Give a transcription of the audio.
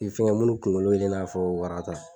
I fɛn minnu kunkolo ye i n'a fɔ wara ta